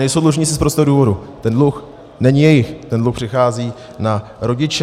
Nejsou dlužníci z prostého důvodu - ten dluh není jejich, ten dluh přechází na rodiče.